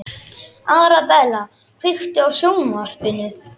Arabella, kveiktu á sjónvarpinu.